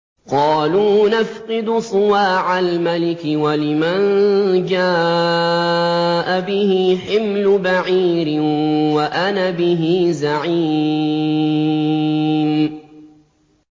قَالُوا نَفْقِدُ صُوَاعَ الْمَلِكِ وَلِمَن جَاءَ بِهِ حِمْلُ بَعِيرٍ وَأَنَا بِهِ زَعِيمٌ